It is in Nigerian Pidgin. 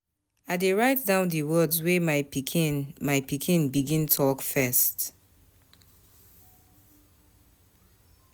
I dey write down di words wey my pikin my pikin begin talk first.